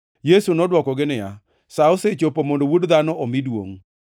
Yesu nodwokogi niya, “Sa osechopo mondo Wuod Dhano omi duongʼ.